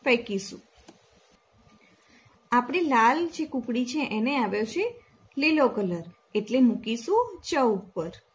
ફેકીશું આપણે લાલ જે કૂકરી છે એને આવે છે એટલે મૂકીશું ચ ઉપર